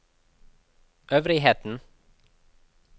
øvrigheten